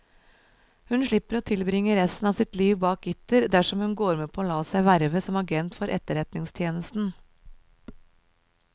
Hun slipper å tilbringe resten av sitt liv bak gitter dersom hun går med på å la seg verve som agent for etterretningstjenesten.